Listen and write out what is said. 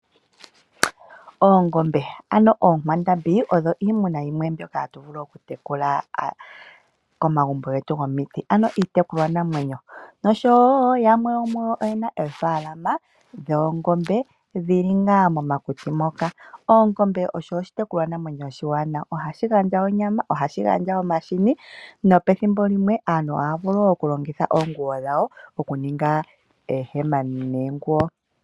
Oongombe, ano onkwandambi odho iimuna yimwe mbyoka hatu vulu oku tekula komagumbo getu go miti, ano iitekulwa naamwenyo. Nosho wo yamwe yo muyo oyena oofalama dhoongombe dhili nga momakuti moka. Oongombe odho oshi tekulwa namwenyo oshiwanaw. Ohashi gandja onyama ,ohashi gandja omahini nopethimbo limwe aantu ohaya vulu oku longitha iipa yawo oku ninga oonguwo.